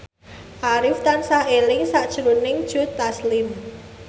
Arif tansah eling sakjroning Joe Taslim